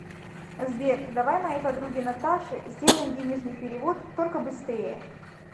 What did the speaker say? сбер давай моей подруге наташе сделаем денежный перевод только быстрее